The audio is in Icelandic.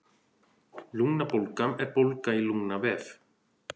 Lungnabólga er bólga í lungnavef.